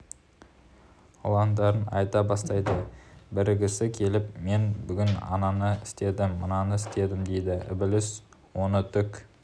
ылаңдарын айта бастайды бірісі келіп мен бүгін ананы істедім мынаны істедім дейді ібіліс оны түк